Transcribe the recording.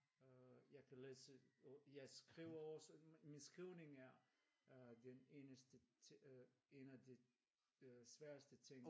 Jeg kan læse og jeg skriver også men min skrivning er den eneste ting en af de sværeste ting